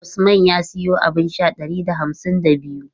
Usman ya siyo abun sha ɗari da hamsin da biyu.